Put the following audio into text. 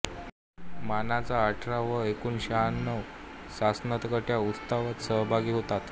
मानाच्या अठरा व एकूण शहाण्णव सासनकाठ्या उत्सवात सहभागी होतात